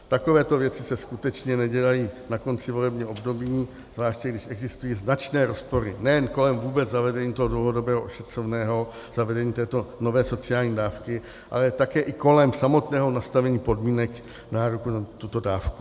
Takovéto věci se skutečně nedělají na konci volebního období, zvláště když existují značné rozpory nejen kolem vůbec zavedení toho dlouhodobého ošetřovného, zavedení této nové sociální dávky, ale také i kolem samotného nastavení podmínek nároku na tuto dávku.